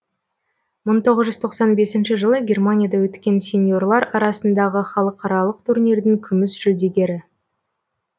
мың тоғыз жүз тоқсан бесінші жылы германияда өткен сеньорлар арасындағы халықаралық турнирдің күміс жүлдегері